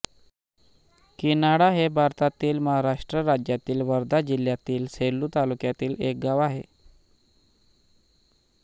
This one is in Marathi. किन्हाळा हे भारतातील महाराष्ट्र राज्यातील वर्धा जिल्ह्यातील सेलू तालुक्यातील एक गाव आहे